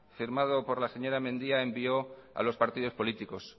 firmado por la señora media envió a los partidos políticos